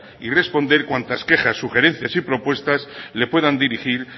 y responder cuantas quejas sugerencias y propuestas le puedan dirigir